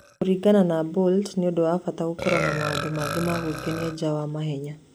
Kũringana na Bolt, nĩ ũndũ wa bata gũkorũo na maũndũ mangĩ ma gwĩkenia nja wa mahenya.